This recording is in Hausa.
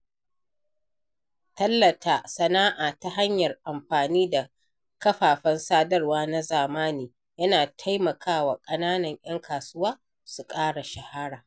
Tallata sana’a ta hanyar amfani da kafafen sadarwa na zamani yana taimakawa ƙananan ‘yan kasuwa su ƙara shahara.